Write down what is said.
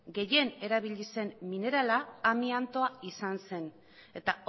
gehien erabili zen minerala amiantoa izan zen eta